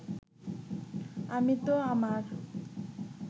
আমি তো আমার